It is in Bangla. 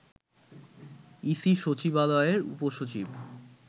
ইসি সচিবালয়ের উপসচিব